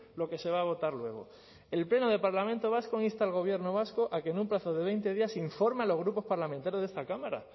lo que se va a votar luego el pleno del parlamento vasco insta al gobierno vasco a que en un plazo de veinte días se informe a los grupos parlamentarios de esta cámara